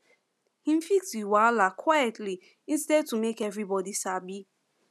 him fix the wahala quietly instead to make everybody sabi